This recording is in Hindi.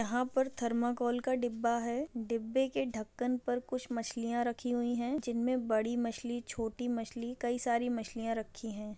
यहाँ पर थर्मोकोल का डिब्बा है डिब्बे के ढक्कन पर कुछ मछलियाँ रखी हुई है जिनमे बड़ी मछली छोटी मछली कई सारी मछलियाँ रखी है।